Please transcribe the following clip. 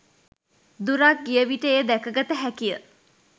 දුරක් ගිය විට එය දැකගත හැකිය.